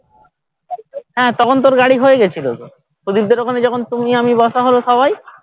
হ্যাঁ তখন তো ওর গাড়ি হয়ে গেছিলো তো প্রদীপ দের ওখানে যখন তুমি আমি বসা হলো সবাই